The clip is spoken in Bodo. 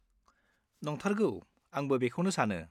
नंथारगौ आंबो बेखौनो सानो।